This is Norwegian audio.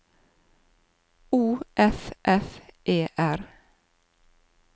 O F F E R